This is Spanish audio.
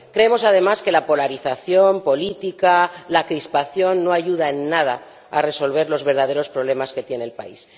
Creemos, además, que la polarización política, la crispación, no ayuda en nada a resolver los verdaderos problemas que tiene el país.